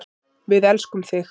Við elskum þig.